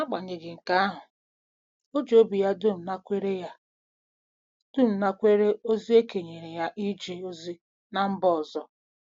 N'agbanyeghị nke ahụ, o ji obi ya dum nakwere ya dum nakwere ozi e kenyere ya ije ozi ná mba ọzọ.